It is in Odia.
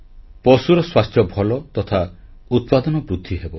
ପଶୁର ସ୍ୱାସ୍ଥ୍ୟ ଭଲ ତଥା ଉତ୍ପାଦନ ବୃଦ୍ଧିହେବ